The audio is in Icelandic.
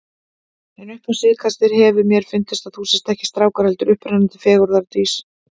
En upp á síðkastið hefur mér fundist að þú sért ekki strákur, heldur upprennandi fegurðardís.